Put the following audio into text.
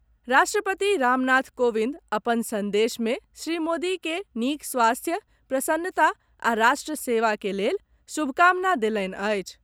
राष्ट्रपति रामनाथ कोविंद अपन संदेश मे श्री मोदी के नीक स्वास्थ्य, प्रसन्नता आ राष्ट्र सेवा के लेल शुभकामना देलनि अछि।